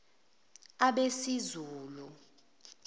abesizulu